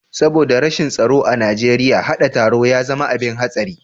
Saboda rashin tsaro a Najeriya, haɗa taro ya zama abin hatsari.